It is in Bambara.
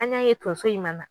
An y'a ye tonso in ma na